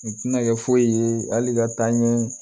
U tɛna kɛ foyi ye hali ka taa ɲɛ